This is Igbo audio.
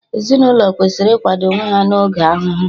Ezinaụlọ kwesịrị ikwado onwe ha na oge ahụhụ